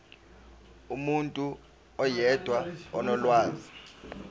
umuntu oyedwa onolwazi